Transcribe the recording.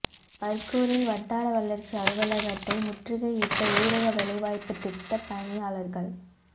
பா்கூரில் வட்டார வளா்ச்சி அலுவலகத்தை முற்றுகையிட்ட ஊரக வேலைவாய்ப்புத் திட்டப் பணியாளா்கள்